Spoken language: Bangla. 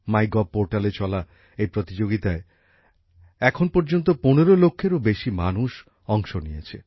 মাইগভ পোর্টালে চলা এই প্রতিযোগিতায় এখন পর্যন্ত পনেরো লক্ষেরও বেশি মানুষ অংশ নিয়েছে